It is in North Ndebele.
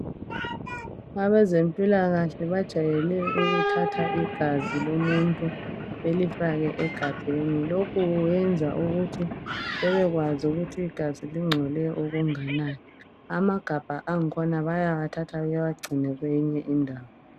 Abezempilakahle bajayele ukuthatha igazi lomuntu belifake egabheni. Lokhu kuyenza ukuthi bebekwazi ukuthi igazi lingcole okunganani. Amagabha angikhona bayawathatha bewagcine kweyinye indawo.